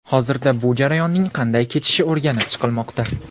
Hozirda bu jarayonning qanday kechishi o‘rganib chiqilmoqda.